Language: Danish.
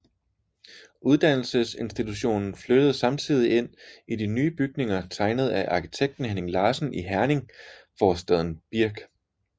Uddannelsesinstitutionen flyttede samtidig ind i nye bygninger tegnet af arkitekten Henning Larsen i Herning forstaden Birk